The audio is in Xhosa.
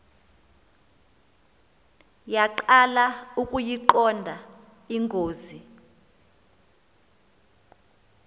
yaqala ukuyiqonda ingozi